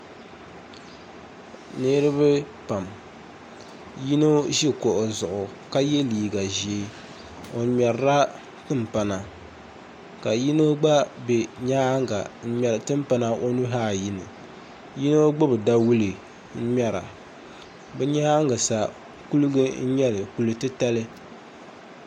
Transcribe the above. Niriba pam yino ʒi kuɣu zuɣu ka ye liiɡa ʒee o ŋmɛrila timpana ka yino ɡba be nyaaŋa n-ŋmɛri timpana o nuhi ayi ni yino ɡbubi dawule n-ŋmɛra bɛ nyaaŋa sa kuliɡa n-nyɛ li kul' titali